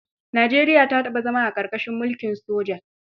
Nijeriya ta taɓa zama a ƙarƙashin mulkin soja.